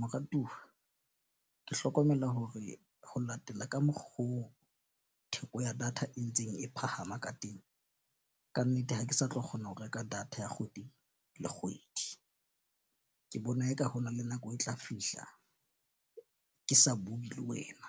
Moratuwa ke hlokomela hore ho latela ka mokgo theko ya data e ntseng e phahama ka teng. Kannete ha ke sa tlo kgona ho reka data ya kgwedi le kgwedi. Ke bona eka ho na le nako e tla fihla. Ke sa bue le wena